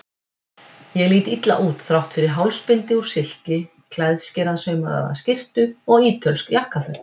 Ég lít illa út, þrátt fyrir hálsbindi úr silki, klæðskerasaumaða skyrtu og ítölsk jakkaföt.